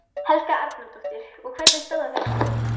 Helga Arnardóttir: Og hvernig stóð á þessu?